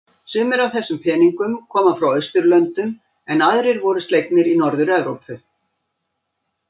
Sumir af þessum peningnum koma frá Austurlöndum en aðrir voru slegnir í Norður-Evrópu.